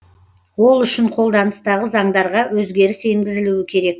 ол үшін қолданыстағы заңдарға өзгеріс енгізілуі керек